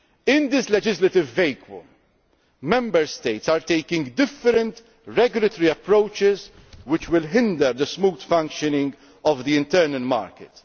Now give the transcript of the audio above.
In this legislative vacuum, Member States are taking different regulatory approaches which will hinder the smooth functioning of the internal market.